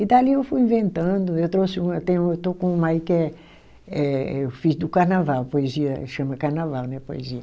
E dali eu fui inventando, eu trouxe uma, tenho uma, estou com uma aí que é, eh eu fiz do carnaval, poesia, chama carnaval, né, poesia.